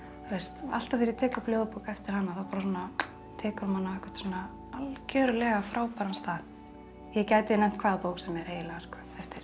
alltaf þegar ég tek upp ljóðabók eftir hana þá tekur hún mann á einhvern algjörlega frábæran stað ég gæti nefnt hvaða bók sem er eiginlega eftir